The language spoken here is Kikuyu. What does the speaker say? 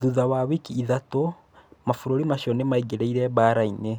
Thutha wa wiki ithatũ, mabũrũri macio nĩmaingĩrĩre mbarainĩ.